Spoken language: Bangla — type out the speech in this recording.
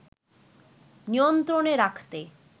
নিয়ন্ত্রণে রাখতে